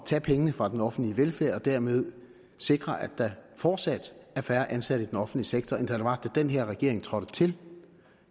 tage pengene fra den offentlige velfærd og dermed sikre at der fortsat er færre ansatte i den offentlige sektor end der var da den her regering trådte til